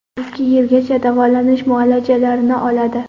Ikki yilgacha davolanish muolajalarini oladi.